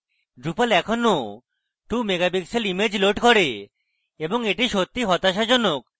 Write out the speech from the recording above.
drupal এখনও 2 megapixel image loads করে এবং এটি সত্যিই হতাশাজনক